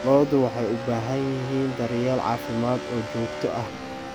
Lo'du waxay u baahan yihiin daryeel caafimaad oo joogto ah.